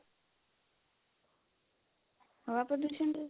ਹਵਾ ਪ੍ਰਦੂਸ਼ਨ ਚ